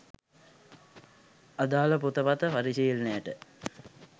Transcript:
අදාල පොත පත පරිශීලනයට